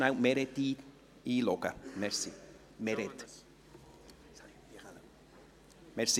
Können Sie, Peter Sommer, bitte Meret Schindler einloggen?